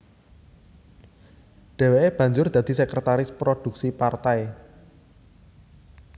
Dheweke banjur dadi sekertaris produksi partai